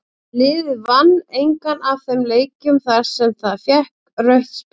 Liðið vann engan af þeim leikjum þar sem það fékk rautt spjald.